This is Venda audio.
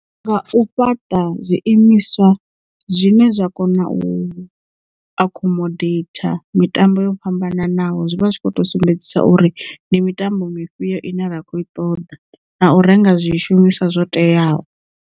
Nga u fhaṱa zwiimiswa zwine zwa kona u accomodate mitambo yo fhambananaho zwivha zwi kho to sumbedzisa uri ndi mitambo mifhio ine rakho iṱoḓa na u renga zwishumiswa zwo teaho.